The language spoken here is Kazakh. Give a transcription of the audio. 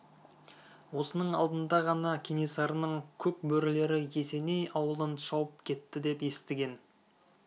осының алдында ғана кенесарының көк бөрілері есеней ауылын шауып кетті деп естіген